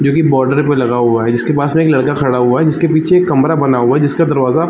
जो की बॉर्डर पर लगा हुआ है जिसके पास एक लडका खड़ा हुआ है जिसके पिछे कमरा बना हुआ है जिसका कमरा --